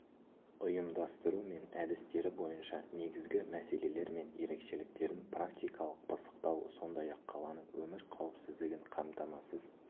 ұйымдастыру мен әдістері бойынша негізгі мәселелер мен ерекшеліктерін практикалық пысықтау сондай-ақ қаланың өмір қауіпсіздігін қамтамасыз